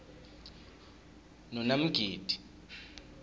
nonamgidi